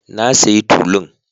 Na sayi tulun